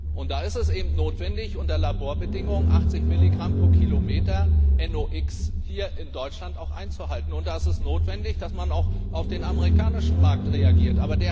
Und da ist es eben notwendig, unter Laborbedingungen 80 Milligramm pro Kilometer NOx hier in Deutschland auch einzuhalten, und da ist es notwendig, dass man auch auf den amerikanischen Markt reagiert.